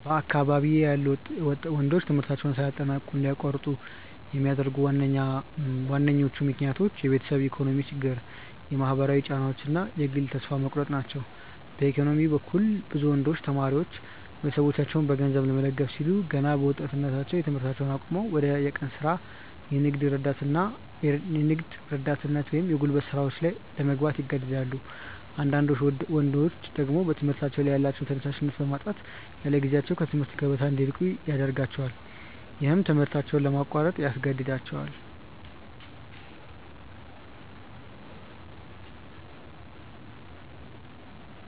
በአካባቢዬ ያሉ ወንዶች ትምህርታቸውን ሳያጠናቅቁ እንዲያቋርጡ የሚያደርጓቸው ዋነኞቹ ምክንያቶች የቤተሰብ የኢኮኖሚ ችግር፣ የማህበራዊ ጫናዎች እና የግል ተስፋ መቁረጥ ናቸው። በኢኮኖሚ በኩል፣ ብዙ ወንዶች ተማሪዎች ቤተሰቦቻቸውን በገንዘብ ለመደገፍ ሲሉ ገና በወጣትነታቸው ትምህርታቸውን አቁመው ወደ የቀን ሥራ፣ የንግድ ረዳትነት ወይም የጉልበት ሥራዎች ለመግባት ይገደዳሉ። አንዳንዳድ ወንዶች ደግሞ በትምህርታቸው ላይ ያላቸውን ተነሳሽነት በማጣት ያለጊዜያቸው ከትምህርት ገበታ እንዲርቁ ያደርጋቸዋል። ይህም ትምህርታቸውን ለማቋረጥ ያስገድዳቸዋል።